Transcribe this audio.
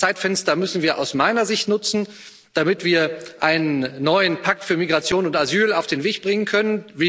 haben. Dieses Zeitfenster müssen wir aus meiner Sicht nutzen, damit wir einen neuen Pakt für Migration und Asyl auf den Weg bringen können.